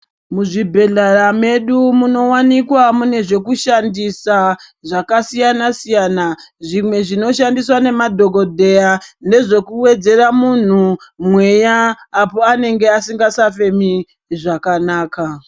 Muzvibhedhlera mwedu munowanikwa mune zvekushandisa zvakasiyana siyana zvimwe zvinoshandiswa nemadhokodheya nezvekuwedzera muntu mweya apo asingachafemi zvakanaka.